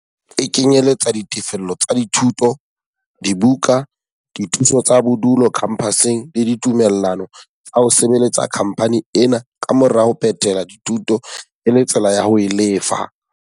E kenyeletsa ditefello tsa dithuto, dibuka, dithuso tsa bodulo khampaseng le ditumellano tsa ho sebeletsa khampani ena ka mora ho phethela dithuto e le tsela ya ho e lefa.